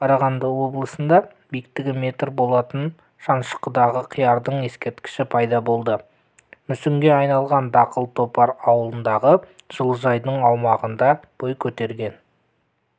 қарағанды облысында биіктігі метр болатын шанышқыдағы қиярдың ескерткіші пайда болды мүсінге айналған дақыл топар ауылындағы жылыжайдың аумағында бой көтерген